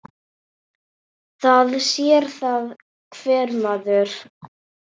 Það sér það hver maður.